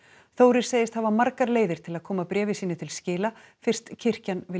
Þórir segist hafa margar leiðir til að koma bréfi sínu til skila fyrst kirkjan vilji